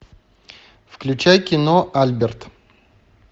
включай кино альберт